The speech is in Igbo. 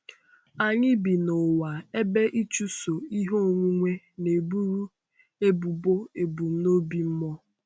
Anyị bi n’ụwa ebe ịchụso ihe onwunwe na-eburu ebubo ebumnobi mmụọ.